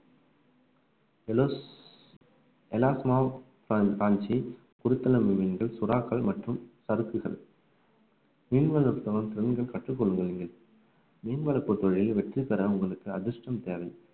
காஞ்சி குறுத்தலம் மீன்கள் சுறாக்கள் மற்றும் சறுக்குகள் மீன் வளர்ப்பு தொழில் பெரிதும் கற்றுக் கொள்வதில்லை மீன் வளர்ப்புத் தொழிலில் வெற்றி பெற உங்களுக்கு அதிர்ஷ்டம் தேவை